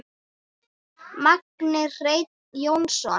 Magni Hreinn Jónsson